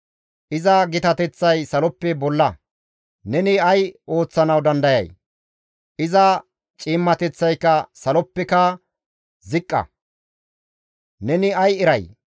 Iza gitateththay saloppe bolla; neni ay ooththanawu dandayay? Iza ciimmateththayka si7ooleppeka ziqqa; neni ay eray?